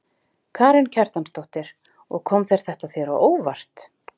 Karen Kjartansdóttir: Og kom þetta þér á óvart?